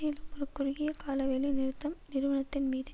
மேலும் ஒரு குறுகிய கால வேலைநிறுத்தம் நிறுவனத்தின்மீது